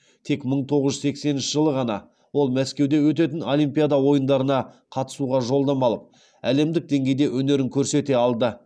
тек мың тоғыз жүз сексенінші жылы ғана ол мәскеуде өтетін олимпиада ойындарына қатысуға жолдама алып әлемдік деңгейде өнерін көрсете алды